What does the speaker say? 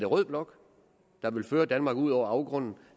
rød blok der vil føre danmark ud over afgrunden